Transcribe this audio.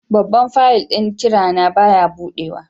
Babban fayil ɗin ƙira na baya buɗewa.